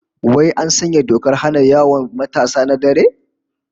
Wai an sanya dokar hana fita yawon matasa na dare?